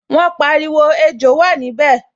Wọ́n pariwo, 'Ejò wà níbẹ̀'